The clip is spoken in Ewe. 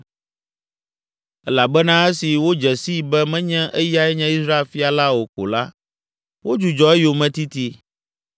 elabena esi wodze sii be menye eyae nye Israel fia la o ko la, wodzudzɔ eyometiti.